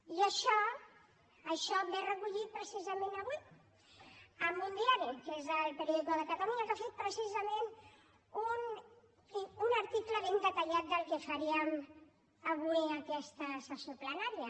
i això això ve recollit precisament avui en un diari que és el periódico de catalunya que ha fet precisament un article ben detallat del que faríem avui en aquesta sessió plenària